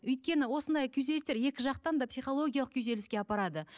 өйткені осындай күйзелістер екі жақтан да психологиялық күйзеліске апарады